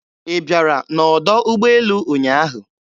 Ị bịara n'ọdọ ụgbọelu ụnyaahụ?